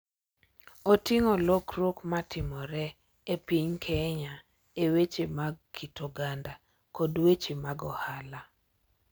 Oting’o lokruok ma timore e piny Kenya e weche mag kit oganda kod weche mag ohala.